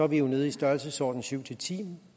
vi jo ned i størrelsesordenen syv ti